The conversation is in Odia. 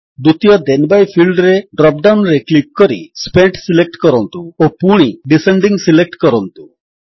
ଦ୍ୱିତୀୟ ଥେନ୍ ବାଇ ଫିଲ୍ଡରେ ଡ୍ରପ୍ ଡାଉନ୍ ରେ କ୍ଲିକ୍ କରି ସ୍ପେଣ୍ଟ ସିଲେକ୍ଟ କରନ୍ତୁ ଓ ପୁଣି ଡିସେଣ୍ଡିଂ ସିଲେକ୍ଟ କରନ୍ତୁ